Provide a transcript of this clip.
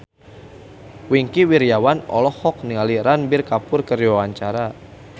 Wingky Wiryawan olohok ningali Ranbir Kapoor keur diwawancara